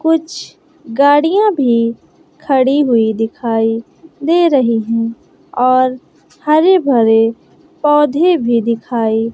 कुछ गाड़ियां भी खड़ी हुई दिखाई दे रही हैं और हरे भरे पौधे भी दिखाई--